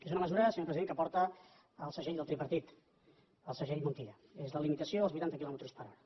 és una mesura senyor president que porta el segell del tripartit el segell montilla és la limitació dels vuitanta quilòmetres per hora